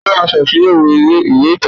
Ta ló máa ṣàtúnyẹ̀wò ìwé ìtàn náà?